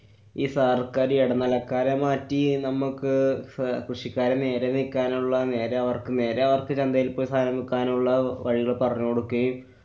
ഈ സര്‍ക്കാര് ഈ ഇടനിലക്കാരെ മാറ്റി നമ്മക്ക് സ്~ കൃഷിക്കാരെ നേരെനിക്കാനുള്ള നേരെ അവര്‍ക്ക് നേരെ അവര്‍ക്ക് ചന്തയില്‍ പോയി സാനം വിക്കാനുള്ള വഴികള്‍ പറഞ്ഞുകൊടുക്കയും